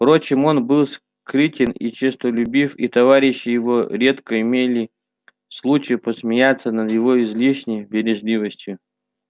впрочем он был скрытен и честолюбив и товарищи его редко имели случай посмеяться над его излишней бережливостью